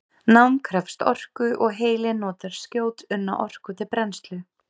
Nám krefst orku og heilinn notar skjótunna orku til brennslu.